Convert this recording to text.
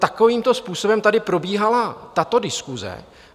Takovýmto způsobem tady probíhala tato diskuse.